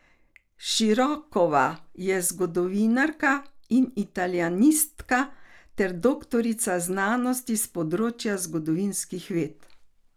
Širokova je zgodovinarka in italijanistka ter doktorica znanosti s področja zgodovinskih ved.